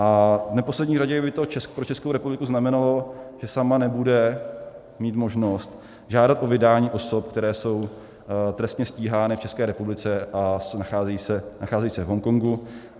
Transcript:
A v neposlední řadě by to pro Českou republiku znamenalo, že sama nebude mít možnost žádat o vydání osob, které jsou trestně stíhány v České republice a nacházejí se v Hongkongu.